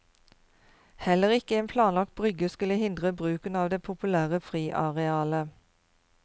Heller ikke en planlagt brygge skulle hindre bruken av det populære friarealet.